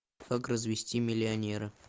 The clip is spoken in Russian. как развести миллионера